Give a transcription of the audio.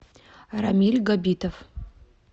рамиль габитов